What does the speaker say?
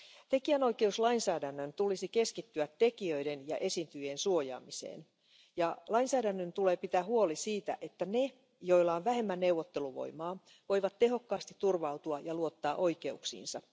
Tekijänoikeuslainsäädännön tulisi keskittyä tekijöiden ja esiintyjien suojaamiseen ja lainsäädännön tulee pitää huoli siitä, että ne, joilla on vähemmän neuvotteluvoimaa, voivat tehokkaasti turvautua ja luottaa oikeuksiinsa.